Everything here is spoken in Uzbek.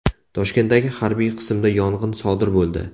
Toshkentdagi harbiy qismda yong‘in sodir bo‘ldi.